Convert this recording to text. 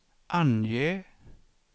ange